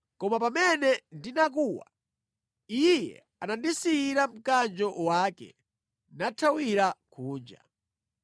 Koma pamene ndinakuwa, iye anandisiyira mkanjo wake nathawira kunja.”